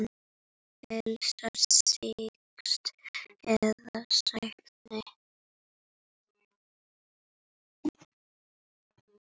Helst þýsk eða sænsk.